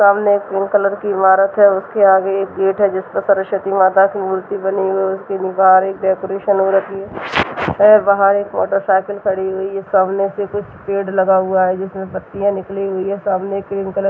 सामने एक cream colour की इमारत है उसके आगे एक गेट है जिस पर सरस्वती माता की मूर्ति बनी हुई है उसके बाहर एक डेकोरेशन हो रखी है बाहर एक मोटरसाइकिल खड़ी हुई है सामने से कुछ पेड़ लगा हुआ है जिसमें पत्तियां निकली हुई है सामने क्रीम कलर --